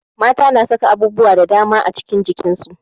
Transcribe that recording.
Mata na saka abubuwa da daman cikin jakan su